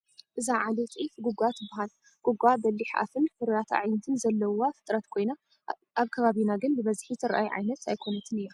እዛ ዓሌት ዒፍ ጉጋ ትበሃል፡፡ ጉጓ በሊሕ ኣፍን ፍሩያት ኣዕይንትን ዘለውዋ ፍጥረት ኮይና ኣብ ከባቢና ግን ብብዝሒ ትርአይ ኣይኮነትን እያ፡፡